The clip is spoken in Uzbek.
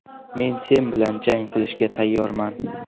Men sen bilan jang qilishga tayyorman.